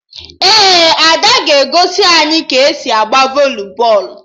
Ee, Ada ga-ekuzi anyị ka-esi agba voli bọọlụ